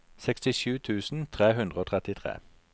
sekstisju tusen tre hundre og trettitre